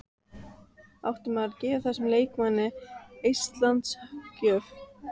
Átti maður að gefa þessum leikmanni eistlands gjöf?